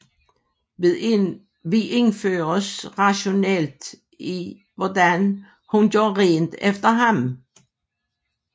Vi indføres rationelt i hvordan hun gør rent efter ham